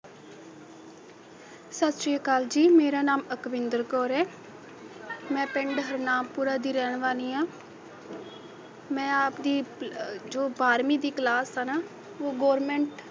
ਸਤਿ ਸ਼੍ਰੀ ਅਕਾਲ ਜੀ ਮੇਰਾ ਨਾਮ ਅਕਵਿੰਦਰ ਕੌਰ ਹੈ ਮੈਂ ਪਿੰਡਹਰਨਾਮ ਪੂਰਾ ਦੀ ਰਹਿਣ ਵਾਲੀ ਆ ਮੈ ਆਪ ਦੀ ਅਹ ਜੋ ਬਾਰਵੀਂ ਦੀ class ਹੈ ਨਾ ਉਹ government